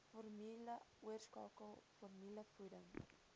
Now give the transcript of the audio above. formule oorskakel formulevoeding